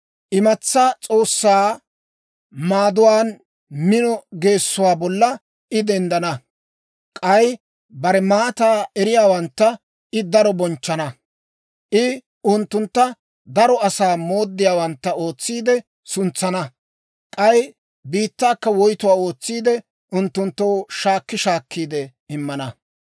Imatsaa s'oossaa maaduwaan mino geessuwaa bolla I denddana. K'ay bare maataa eriyaawantta I daro bonchchana. I unttuntta daro asaa mooddiyaawantta ootsiide suntsana; k'ay biittaakka woytuwaa ootsiide, unttunttoo shaakki shaakkiide immana.